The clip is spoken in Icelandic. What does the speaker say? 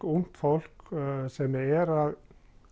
ungt fólk sem er að